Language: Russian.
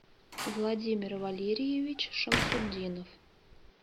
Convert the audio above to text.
владимир валерьевич шамсутдинов